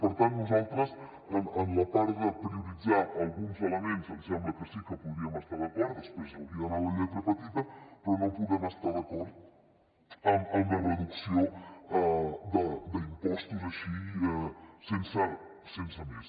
per tant nosaltres en la part de prioritzar alguns elements em sembla que sí que podríem estar d’acord després s’hauria d’anar a la lletra petita però no podem estar d’acord amb la reducció d’impostos així sense més